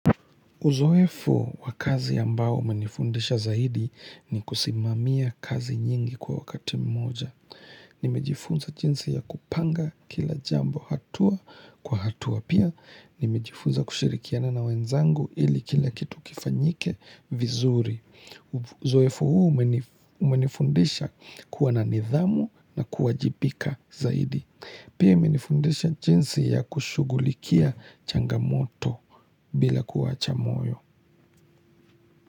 Uzoefu wa kazi ambayo umenifundisha zaidi ni kusimamia kazi nyingi kwa wakati mmoja. Nimejifunza jinsi ya kupanga kila jambo, hatua kwa hatua pia. Nimejifunza kushirikiana na wenzangu ili kila kitu kifanyike vizuri. Uzoefu huu umenifundisha kuwa na nidhamu na kuwajibika zaidi. Pia imenifundisha jinsi ya kushughulikia changamoto bila kuwacha moyo.